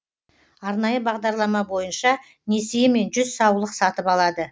арнайы бағдарлама бойынша несиемен жүз саулық сатып алады